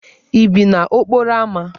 Ị bi n'okporo ámá?